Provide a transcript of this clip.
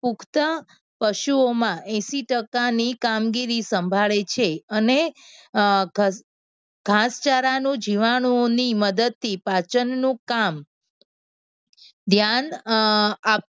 પુખ્ત પશુઓમાં એશિ ટકાની કામગીરી સંભાળે છે. અને અમ ઘાસચારાનું જીવાણુઓની મદદથી પાચનનું કામ ધ્યાન અમ